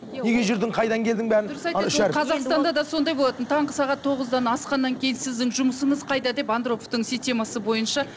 қазақстанда да сондай болатын таңғы сағат тоғыздан асқаннан кейін сіздің жұмысыңыз қайда деп андроповтың системасы бойынша